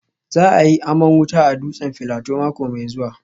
Za a yi aman wuta a dutsen Filato mako mai zuwa